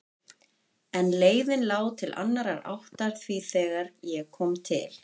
En leiðin lá til annarrar áttar því þegar ég kom til